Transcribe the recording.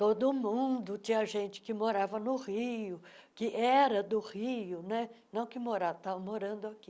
Todo mundo, tinha gente que morava no Rio, que era do Rio né, não que morava, estavam morando aqui.